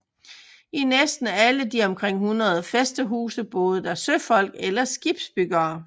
I næsten alle de omkring 100 fæstehuse boede der søfolk eller skibbyggere